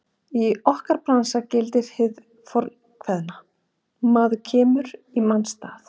Í okkar bransa gildir hið fornkveðna: Maður kemur í manns stað.